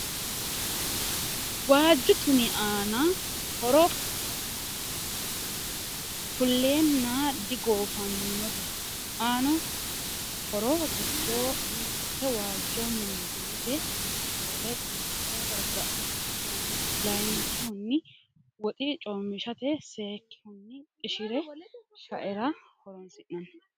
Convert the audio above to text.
Waaju Tumi aano horro kuleenanno digoofannote aano horro giddo mitte waajjo mundeete seele xibba garigaranno. Layikihuni woxi coomishshate. Sayiikihuni qishire sha'erra horonisinanni.